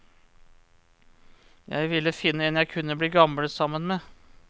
Jeg ville finne en jeg kunne bli gammel sammen med.